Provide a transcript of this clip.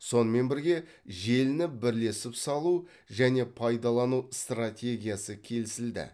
сонымен бірге желіні бірлесіп салу және пайдалану стратегиясы келісілді